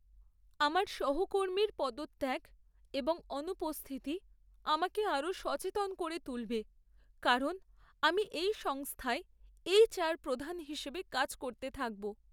আমার সহকর্মীর পদত্যাগ এবং অনুপস্থিতি আমাকে আরও সচেতন করে তুলবে কারণ আমি এই সংস্থায় এইচআর প্রধান হিসাবে কাজ করতে থাকব।